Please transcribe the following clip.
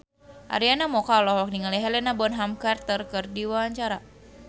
Arina Mocca olohok ningali Helena Bonham Carter keur diwawancara